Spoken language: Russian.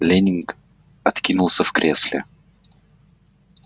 лэннинг откинулся в кресле